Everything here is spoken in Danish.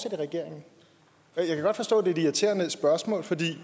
i regeringen jeg kan godt forstå at det er et irriterende spørgsmål for det